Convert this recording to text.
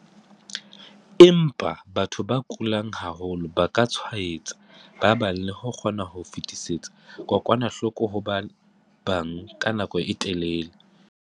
Empa, batho ba kulang haholo ba ka tshwaetsa ba bang le ho kgona ho fetisetsa kokwanahloko ho ba bang ka nako e telele.